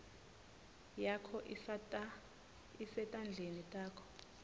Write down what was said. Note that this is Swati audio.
yakho isetandleni takho